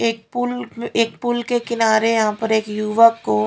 क पुल एक पुल के किनारे यहां पर एक युवक को--